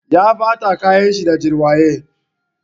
Ya ɓata kayan shi da jirwaye.